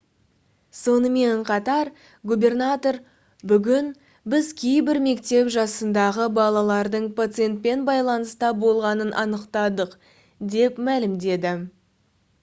сонымен қатар губернатор: «бүгін біз кейбір мектеп жасындағы балалардың пациентпен байланыста болғанын анықтадық» деп мәлімдеді